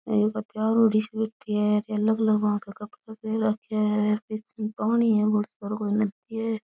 ए एक तैयार हुयोड़ी सी बैठी है अलग अलग भात का कपडा पहर राख्या है बीच में पानी है बहोत सारो कोई नदी है।